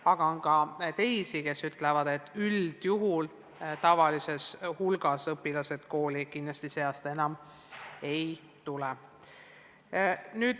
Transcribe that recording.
Aga on ka neid, kes ütlevad, et tavalisel hulgal õpilased kooli sel kevadel kindlasti enam ei tule.